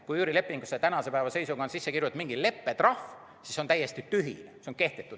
Kui üürilepingusse on tänase päeva seisuga sisse kirjutanud mingi leppetrahv, siis see on täiesti tühine, see on kehtetu.